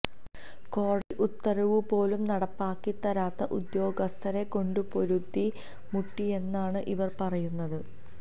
കോടതി ഉത്തരവുപോലും നടപ്പാക്കിത്തരാത്ത ഉദ്യോഗസ്ഥരെ കൊണ്ടു പൊറുതി മുട്ടിയെന്നാണ് ഇവർ പറയുന്നത്